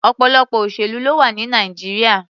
Ọ̀pọ̀lọpọ̀ òṣèlú ló wà ní Nàìjíríà.